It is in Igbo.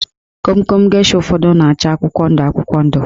Komkom gesha ụfọdụ na-acha akwụkwọ ndụ akwụkwọ ndụ